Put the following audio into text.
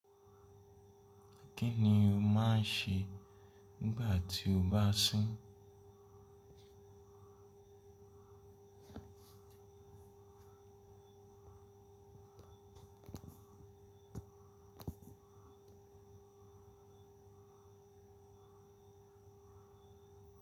Kí ni o máa ń ṣe nígbà tí o bá ń sùn?